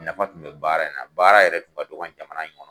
Nafa tun bɛ baara in na baara yɛrɛ tun ka dɔgɔ nin jamana in kɔnɔ.